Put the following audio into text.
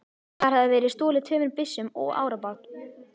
Þar hafði verið stolið tveimur byssum og árabát.